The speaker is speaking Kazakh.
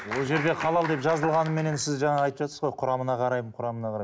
ол жерде халал деп жазылғаныменен сіз жаңа айтывжатсыз ғой құрамына қараймын құрамына қараймын